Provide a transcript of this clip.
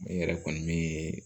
N yɛrɛ kɔni min ye